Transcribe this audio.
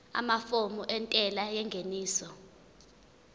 amafomu entela yengeniso